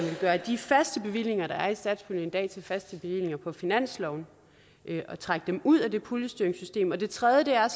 gøre de faste bevillinger der er i satspuljen i dag til faste bevillinger på finansloven og trække dem ud af det puljestyringssystem den tredje del er